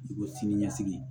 Dugukolo sini ɲɛsigi